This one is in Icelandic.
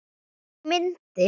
Þá myndi